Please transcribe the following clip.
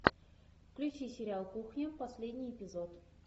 включи сериал кухня последний эпизод